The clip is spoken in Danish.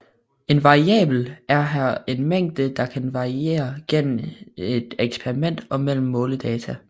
En variabel er her en mængde der kan variere igennem et eksperiment og mellem måledata